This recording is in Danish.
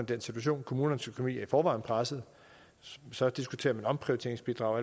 den situation kommunernes økonomi er i forvejen presset og så diskuterer man omprioriteringsbidrag og